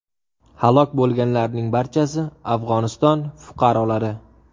Halok bo‘lganlarning barchasi Afg‘oniston fuqarolari.